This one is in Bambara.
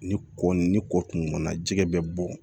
Ni kɔ ni kɔ kun ŋɔni na jɛgɛ bɛ bɔ